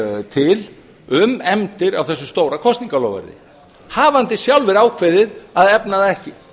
til um efndir á þessu stóra kosningaloforði hafandi sjálfir ákveðið að efna það ekki